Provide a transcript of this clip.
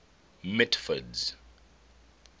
mitford's